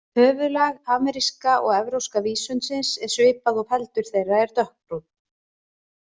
Höfuðlag ameríska og evrópska vísundsins er svipað og feldur þeirra er dökkbrúnn.